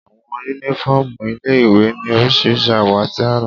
Àwọn yúnífọ́ọ̀mù ilé-ìwé ní oríṣiríṣi àwọ̀ àti àrà